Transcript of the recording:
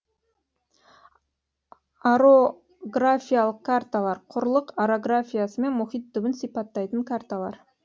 орографиялық карталар құрлық орографиясы мен мұхит түбін сипаттайтын карталар